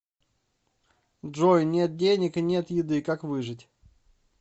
джой нет денег и нет еды как выжить